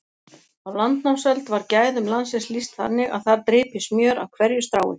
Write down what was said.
Á landnámsöld var gæðum landsins lýst þannig að þar drypi smjör af hverju strái.